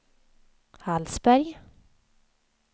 Hallsberg